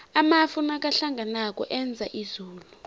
amafu nakahlanganako enza izulu